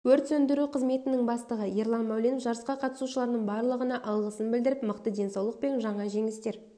өрт сөндіру қызметінің бастығы ерлан мәуленов жарысқа қатысушылардың барлығына алғысын білдіріп мықты денсаулық пен жаңа жеңістер